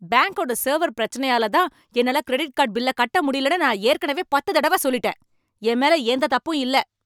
பேங்க்கோட server பிரச்சனையால தான் என்னால கிரெடிட் கார்டு பில்ல கட்ட முடியலனு நான் ஏற்கனவே பத்து தடவ சொல்லிட்டேன். என் மேல எந்த தப்பும் இல்ல.